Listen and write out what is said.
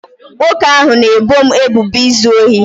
nwoke ahụ na-ebo m ebubo izu ohi